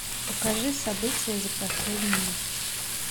покажи события за последний месяц